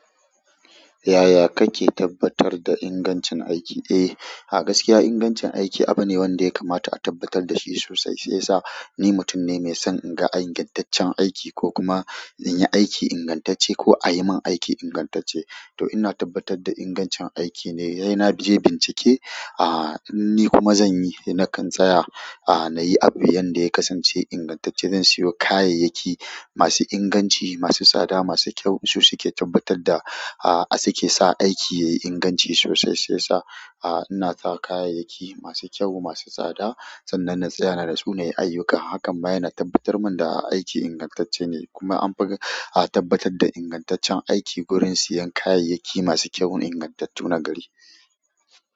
Yaya kake tabbatar da ingancin aiki? Eh, gaskiya ingancin aiki abu ne wanda ya kamata a tabbatar da shi sosai, sai sa ni mutum ne mai son inga ingantaccen aiki ko kuma in yi aiki ingantacce ko a yi min aiki ingantacce. To ina tabbatar da ingancin aiki ne, yana bin bincike, ah inni kuma zan yi, na kan tsaya a, nayi abu yanda ya kasance ingantacce. Zan siyo kayayyaki masu inganci masu tsada masu kyau, su suke tabbatar da ah asake su a aiki yayi inganci sosai shi yasa ina sa kayyayaki masa inganci masu tsada. Sannan na tsaya na da sunaye ayyuka. Hakan ma yana tabbatar min da aiki ingantacce ne. Kuma anfi tabbatar ta ingantaccen aiki gurin siyan kayayyaki ingantattu na gari.